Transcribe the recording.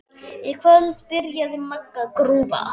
Í kvöld byrjaði Magga að grúfa.